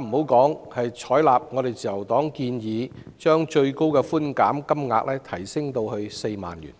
論採納自由黨建議把上限提升至4萬元。